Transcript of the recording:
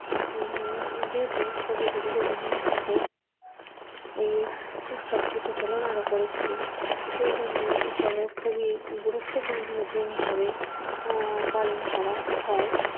উম যেহেতু কবিগুরু রবীন্দ্রনাথ ঠাকুর এই উৎসবটি প্রচলন করেছিলেন সেই জন্য এখানে খুবই গুরুত্বপূর্ণ জিনিস পালন করা হয়।